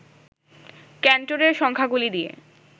ক্যান্টরের সংখ্যাগুলি দিয়ে